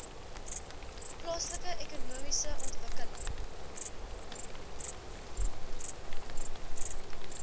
plaaslike ekonomiese ontwikkeling